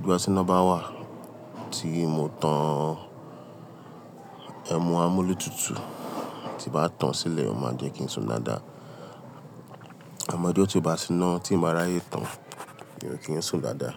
Boya ti inà bá wà tí mo tan ẹmu amúlétutu, tí bá tán sílẹ̀, o máa jẹ́ kí ń sùn dáadáa. Amọ ijó tí ó bá ti síná tí n ba ràáyè tán ni mi ò kí ń sùn dáadáa.